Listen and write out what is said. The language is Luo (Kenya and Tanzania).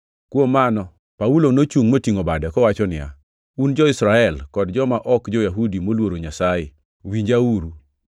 Kuom mano, Paulo nochungʼ motingʼo bade, kowacho niya, “Un jo-Israel kod joma ok jo-Yahudi moluoro Nyasaye, winjauru!